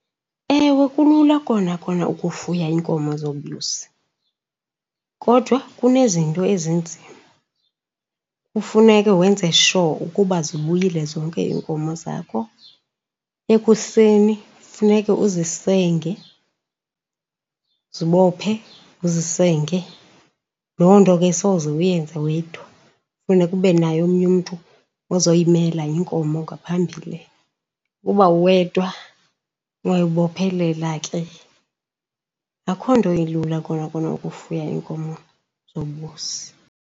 Ewe kulula kona kona ukufuya iinkomo zobisi kodwa kunezinto ezinzima. Kufuneke wenze sure ukuba zibuyile zonke iinkomo zakho. Ekuseni funeke uzisenge, uzibophe uzisenge. Loo nto ke asoze uyenze wedwa, funeka ube naye omnye umntu ozoyimela inkomo ngaphambili, uba uwedwa uyoyibophelela ke. Akukho nto ilula kona kona ukufuya iinkomo zobisi.